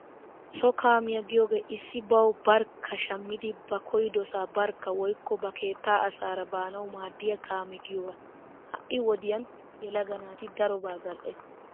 So kaamiyaa giyoogee issi bawu barkka shammidi ba koyyidosaa barkka woykko ba keettaa asaara baanawu maaddiyaa kaame giyoogaa. Ha'i wodiyan yelaga naati darobaa zal'ees.